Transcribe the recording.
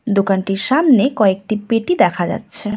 দোকানটির সামনে কয়েকটি পেটি দেখা যাচ্ছে।